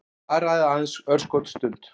Varaði aðeins örskotsstund.